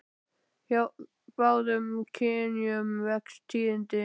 Hjá báðum kynjum vex tíðnin með aldrinum.